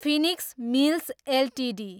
Phoenix Mills Ltd